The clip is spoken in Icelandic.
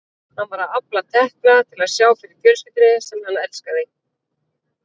Hann var að afla tekna til að sjá fyrir fjölskyldunni sem hann elskaði.